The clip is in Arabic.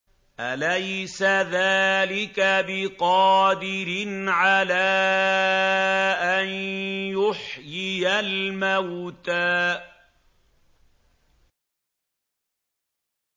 أَلَيْسَ ذَٰلِكَ بِقَادِرٍ عَلَىٰ أَن يُحْيِيَ الْمَوْتَىٰ